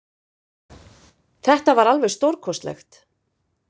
Þetta var alveg stórkostlegt